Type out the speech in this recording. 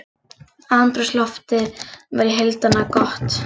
Andrúmsloftið var í heildina gott